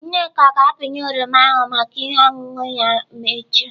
Nneka ga-apịnye oroma ahụ maka ihe ọṅụṅụ ya ma emechaa.